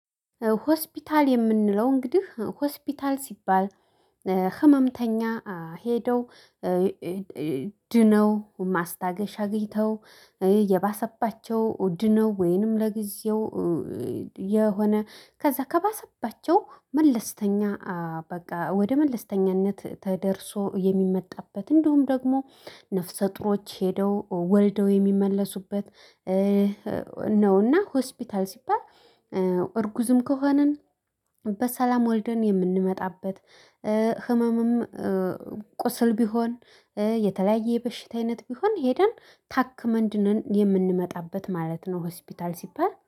ሆስፒታል የምንለው እንግዲህ ሆስፒታል ሲባል ህመምተኛ ሄደው ድነው ማስታገሻ አግኝተው የባሰባቸው ድነው ወይንም ለጊዜው የሆነ ከዛ ከባሰባቸው መለስተኛ በቃ ወደ መለስተኛነት ተደርሶ የሚመጣበት እንዲሁም ደግሞ ነፍሰ ጡሮች ሄደው ወልደው የሚመለሱበት ነው። እና ሆስፒታል ሲባል እርጉዝም ከሆንን በሰላም ወልደን የምንመጣበት። ህመምም ቁስል ቢሆን የተለያየ በሽታ አይነት ቢሆን ሄደን ታክመን ድነን የምንመጣበት ማለት ነው። ሆስፒታል ሲባል